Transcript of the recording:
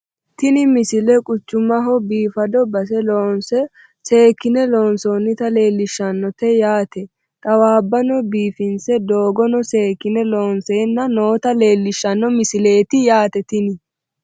tini misile quchumaho bifado base looso seekkine loonsoonita leellishshannote yaate xawaabbano biifinse doogono seekkine looonseenna noota leellishshano misileeti yaate tini